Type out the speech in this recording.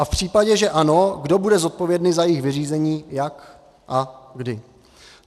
A v případě, že ano, kdo bude zodpovědný za jejich vyřízení, jak a kdy.